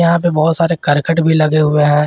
यहां पे बहोत सारे करकट भी लगे हुए हैं।